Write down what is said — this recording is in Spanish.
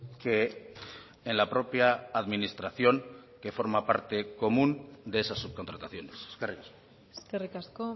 que en la propia administración que forma parte común de esas subcontrataciones eskerrik asko eskerrik asko